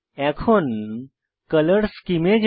এখন colour scheme colour scheme এ যাই